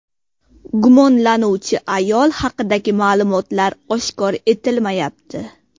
Gumonlanuvchi ayol haqidagi ma’lumotlar oshkor etilmayapti.